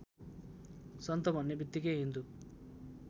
सन्त भन्नेबित्तिकै हिन्दू